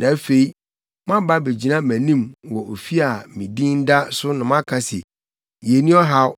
na afei, moaba abegyina mʼanim wɔ ofi a me din da so na moaka se, “Yenni ɔhaw,”